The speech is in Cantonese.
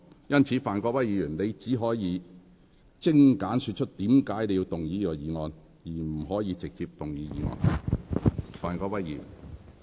因此，范國威議員，你現在只可精簡說出你為何要動議此議案，而不可直接動議議案。